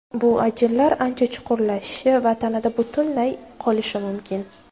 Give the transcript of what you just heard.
Bu ajinlar ancha chuqurlashishi va tanada butunlay qolishi mumkin.